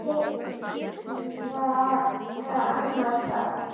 tíðkað annars staðar?